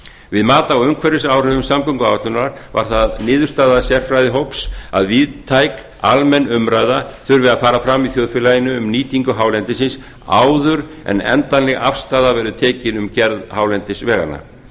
við mat á umhverfisáhrifum samgönguáætlunar varð það niðurstaða sérfræðihóps að víðtæk almenn umræða þurfi að fara fram í þjóðfélaginu um nýtingu hálendisins áður en endanleg afstaða verður tekin um gerð hálendisveganna